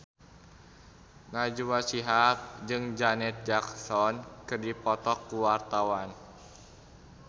Najwa Shihab jeung Janet Jackson keur dipoto ku wartawan